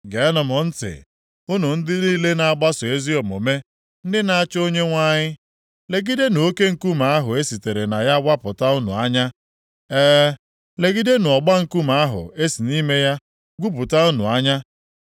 Geenụ m ntị, unu ndị niile na-agbaso ezi omume, ndị na-achọ Onyenwe anyị! Legidenụ oke nkume ahụ e sitere na ya wapụta unu anya. E, legidenụ ọgba nkume ahụ e si nʼime ya gwupụta unu anya!